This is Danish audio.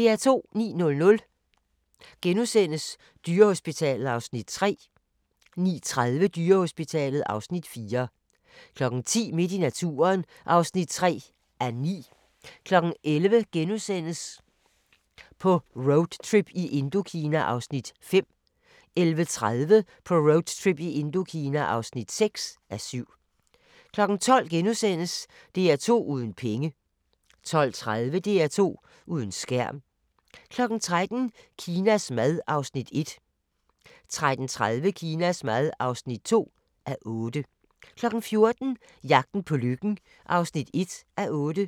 09:00: Dyrehospitalet (Afs. 3)* 09:30: Dyrehospitalet (Afs. 4) 10:00: Midt i naturen (3:9) 11:00: På roadtrip i Indokina (5:7)* 11:30: På roadtrip i Indokina (6:7) 12:00: DR2 uden penge * 12:30: DR2 uden skærm * 13:00: Kinas mad (1:8) 13:30: Kinas mad (2:8) 14:00: Jagten på lykken (1:8)